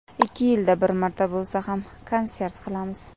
Ikki yilda bir marta bo‘lsa ham konsert qilamiz.